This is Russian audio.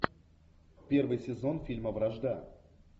первый сезон фильма вражда